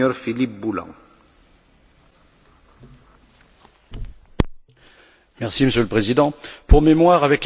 Monsieur le Président, pour mémoire, avec la crise et l'explosion de la bulle immobilière et du crédit, l'État irlandais a dû intervenir pour soutenir les banques.